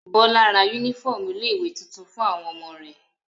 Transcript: Bọ́lá ra únífọ́ọ́mù ilé-ìwé tuntun fún àwọn ọmọ rẹ̀.